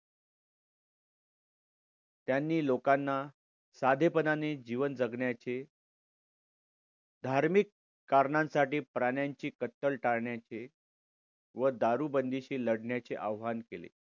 त्यांनी लोकांना साधेपणाने जीवन जगण्याचे धार्मिक कारणांसाठी प्राण्यांची कत्तल टाळण्याचे व दारू बंदिशी लढण्याचे आवाहन केले.